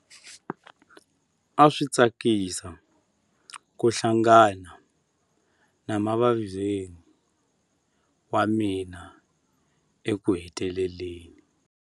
A swi tsakisa ku hlangana na mavizweni wa mina ekuheteleleni.